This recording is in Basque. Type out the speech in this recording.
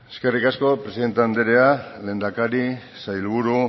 eskerrik asko presidente andrea lehendakari sailburu